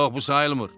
Yox, bu sayılmır.